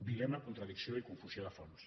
dilema contradicció i confusió de fons